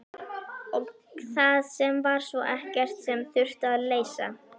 Og það var svo sem ekkert sem þurfti að leysa.